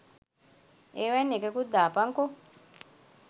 ඒවයින් එකකුත් දාපංකෝ